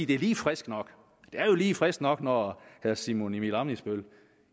det er lige frisk nok det er lige frisk nok når herre simon emil ammitzbøll